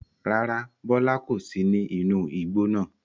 Rárá, Bọlá kò sì ní inú igbó náà.